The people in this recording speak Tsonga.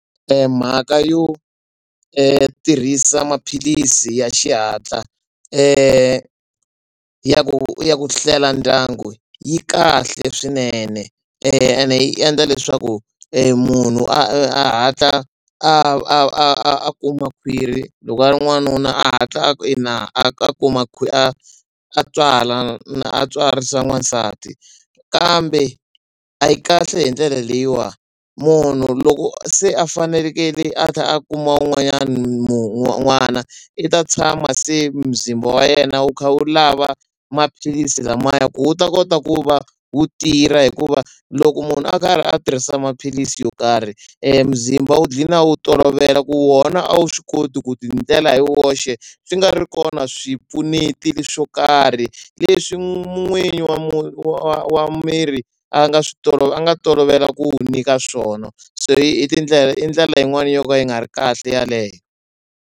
Mhaka yo tirhisa maphilisi ya xihatla ya ku ya ku hlela ndyangu yi kahle swinene ene yi endla leswaku munhu a hatla a a a a kuma khwiri loko a ri n'wanuna a hatla a ina a kuma khwiri a tswala a tswarisa n'wansati kambe a yi kahle hi ndlela leyiwa munhu loko se a fanelekele a tlha a kuma un'wanyana n'wana i ta tshama se muzimba wa yena wu kha wu lava maphilisi lamaya ku wu ta kota ku va wu tirha hikuva loko munhu a karhi a tirhisa maphilisi yo karhi muzimba wu gcina wu tolovela ku wona a wu swi koti ku ti endlela hi woxe swi nga ri kona swipfuneti leswo karhi leswi n'winyi wa munhu wa wa wa miri a nga swi tolovela a nga tolovela ku wu nyika swona se i tindlela i ndlela yin'wani yo ka yi nga ri kahle yeleyo.